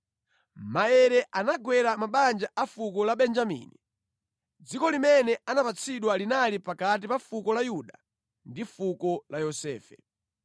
Maere anagwera mabanja a fuko la Benjamini. Dziko limene anapatsidwa linali pakati pa fuko la Yuda ndi fuko la Yosefe: